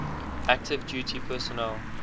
active duty personnel